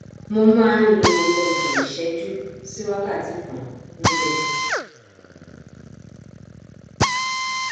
mo má nlo ọgbọn ìṣẹjú sí wákàtí kan níbẹ